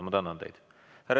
Ma tänan teid!